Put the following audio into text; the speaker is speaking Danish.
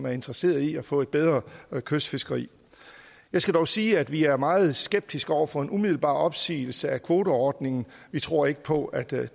interesseret i at få et bedre kystfiskeri jeg skal dog sige at vi er meget skeptiske over for en umiddelbar opsigelse af kvoteordningen vi tror ikke på at det